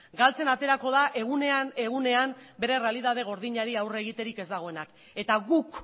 galtzen aterako da egunean egunean bere errealitate gordinari aurre egiterik ez dagoena eta guk